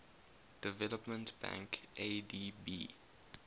development bank adb